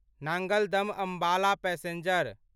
Nangal dam Ambala passenger